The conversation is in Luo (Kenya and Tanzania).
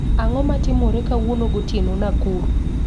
Ang'o matimore kawuono gotieno Nakuru